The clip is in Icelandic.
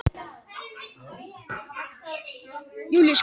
Allir njósnarar þeirra hefðu getað leikið sama leikinn.